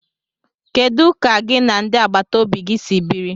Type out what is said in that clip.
Kedu ka gị na ndị agbata obi gi si biri?